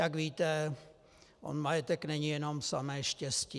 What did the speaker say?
Jak víte, on majetek není jenom samé štěstí.